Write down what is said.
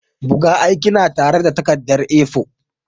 Buga aikina tare da takarda A4.